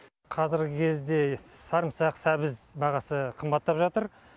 қазіргі кезде сарымсақ сәбіз бағасы қымбаттап жатыр